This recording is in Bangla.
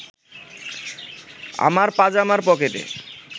আমার পাজামার পকেটে